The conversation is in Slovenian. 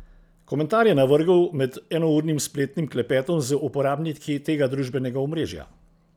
Komentar je navrgel med enournim spletnim klepetom z uporabniki tega družbenega omrežja.